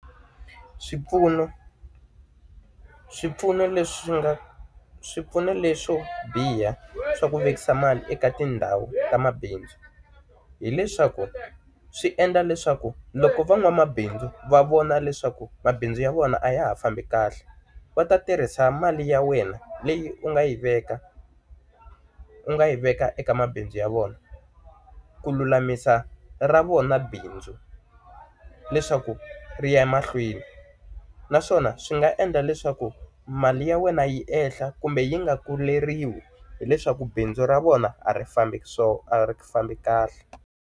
Swipfuno. Swipfuno leswi swi nga swipfuno leswo biha swa ku vekisa mali eka tindhawu ta mabindzu, hileswaku swi endla leswaku loko van'wamabindzu va vona leswaku mabindzu ya vona a ya ha fambi kahle va ta tirhisa mali ya wena leyi u nga yi veka u nga yi veka eka mabindzu ya vona ku lulamisa ra vona bindzu, leswaku ri ya emahlweni. Naswona swi nga endla leswaku mali ya wena yi ehla kumbe yi nga kuleriwi hileswaku bindzu ra vona a ri fambi a ri fambi kahle.